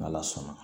N'ala sɔn na